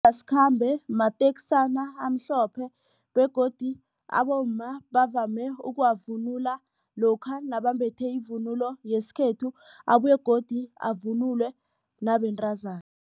mateksana amhlophe begodu abomma bavame ukuwavunula lokha nabambethe ivunulo yesikhethu abuye godu avunulwe nabentazana.